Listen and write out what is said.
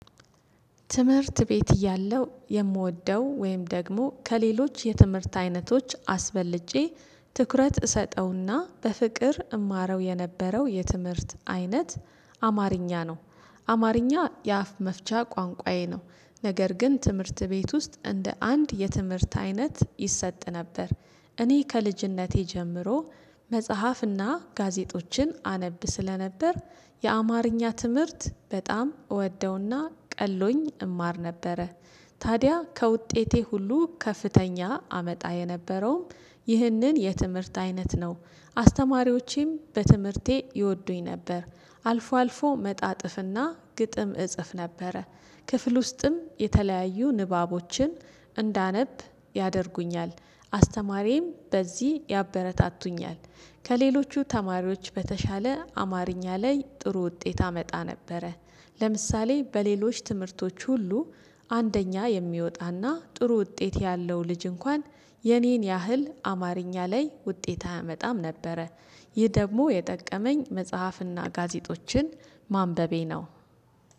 ትምህርት ቤት እያለሁ የምወደው ወይም ደግሞ ከሌሎች የትምህርት አይነቶች አስበልጬ ትኩረት እሰጠውና በፍቅር እማረው የነበረው የትምህርት አይነት አ አማርኛ ነው። አማርኛ የአፍ መፍቻ ቋንቋዬ ነው። ነገር ግን ትምህርት ቤት ውስጥ እንደ አንድ የትምህርት አይነት ይሰጥ ነበር። እኔ ከልጅነቴ ጀምሮ መጽሓፍና ጋዜጦችን አነብ ስለነበር የአማርኛ ትምህርት በጣም እወደውና ቀሎኝ እማር ነበረ። ታዲያ ከውጤቴ ሁሉ ከፍተኛ አመጣ የነበረውም ይህንን የትምህርት አይነት ነው። አስተማሪዎቼም በትምህርቴ ይወዱኝ ነበር አልፎ አልፎ መጣጥፍና ግጥም እጽፍ ነበረ። ክፍል ውስጥም የተለያዩ ንባቦችን እንዳነብ ያደርጉኛል አስተማሪዬም በዚህ ያበረታቱኛል። ከሌሎቹ ተማሪዎች በተሻለ አማርኛ ላይ ጥሩ ውጤት አመጣ ነበረ። ለምሳሌ በሌሎች ትምህርቶች ሁሉ አንደኛ የሚወጣና ጥሩ ውጤት ያለው ልጅ እንኳን የኔን ያህል አማርኛ ላይ ውጤት አያመጣም ነበረ። ይህ ደግሞ የጠቀመኝ መጽሐፍና ጋዜጦችን ማንበቤ ነው።